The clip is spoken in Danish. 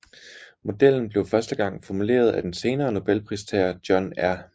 Modellen blev første gang formuleret af den senere Nobelpristager John R